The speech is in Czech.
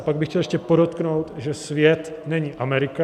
A pak bych chtěl ještě podotknout, že svět není Amerika.